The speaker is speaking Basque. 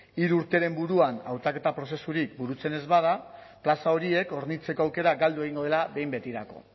hiru urteren buruan hautaketa prozesurik burutzen ez bada plaza horiek hornitzeko aukera galdu egingo dela behin betirako